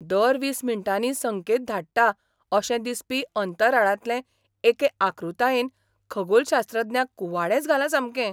दर वीस मिनटांनी संकेत धाडटा अशें दिसपी अंतराळांतले एके आकृतायेन खगोलशास्त्रज्ञांक कुवाडेंच घालां सामकें.